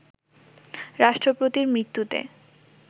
রাষ্ট্রপতির মৃত্যুতে